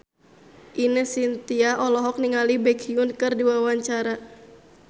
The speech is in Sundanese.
Ine Shintya olohok ningali Baekhyun keur diwawancara